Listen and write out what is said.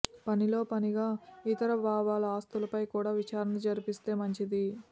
పనిలో పనిగా యితర బాబాల ఆస్తులపై కూడా విచారణ జరిపిస్తే మంచిది